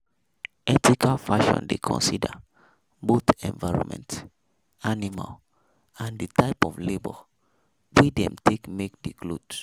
Ethical Fashion dey consider both environment, animal and di type of labour wey dem take make di cloth